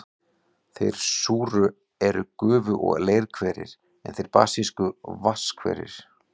Þeir súru eru gufu- og leirhverir, en þeir basísku vatnshverir.